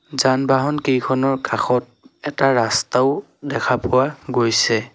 যান-বাহন কেইখনৰ কাষত এটা ৰাস্তাও দেখা পোৱা গৈছে।